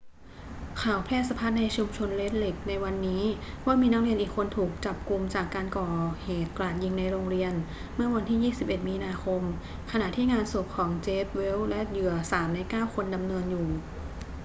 ข่าวแพร่สะพัดในชุมชนเรดเลคในวันนี้ว่ามีนักเรียนอีกคนถูกจับุมจากการก่อเหตุกราดยิงในโรงเรียนเมื่อวันที่ 21 มีนาคม ขณะที่งานศพของ jeff weise และเหยื่อ 3 ใน 9 คนดำเนินอยู่